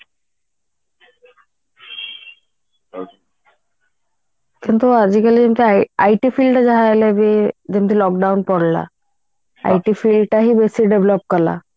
କିନ୍ତୁ ଆଜିକାଲି IT field ରେ ଯାହା ହେଲେ ବି ଯେମିତି lockdown ପଡିଲା IT field ଟା ହିଁ ବେଶୀ develop କରିଲା